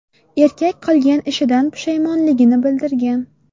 Erkak qilgan ishidan pushaymonligini bildirgan.